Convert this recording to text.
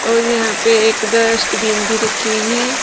और यहां पे एक डस्टबिन भी रखी हुई हैं।